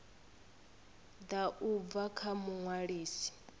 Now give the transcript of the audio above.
ḓa u bva kha muṅwalisi